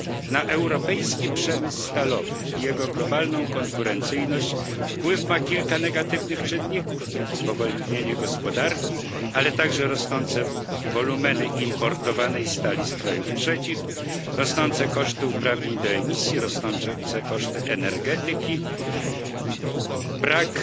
Na europejski przemysł stalowy i jego globalną konkurencyjność wpływ ma kilka negatywnych czynników spowolnienie gospodarki, ale także rosnące wolumeny importowanej stali z krajów trzecich, rosnące koszty uprawnień do emisji, rosnące koszty energetyki, brak